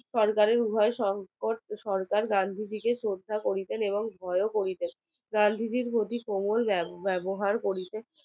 সরকারের উভয় সংকট গান্ধী জি কে শ্রদ্ধা করিতেন এবং ভয়ও করিতেন গান্ধীজির প্রতি কোমল ব্যবহার কোটিতে